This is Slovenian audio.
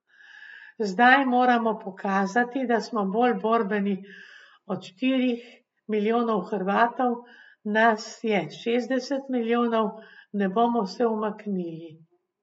Zdaj moramo pokazati, da smo bolj borbeni od štirih milijonov Hrvatov, nas je šestdeset milijonov, ne bomo se umaknili.